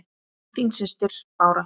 Þín systir, Bára.